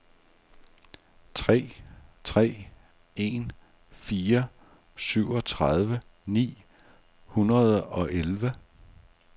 tre tre en fire syvogtredive ni hundrede og elleve